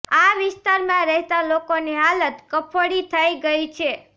આ વિસ્તારમાં રહેતા લોકોની હાલત કફોડી થઇ ગઇ છે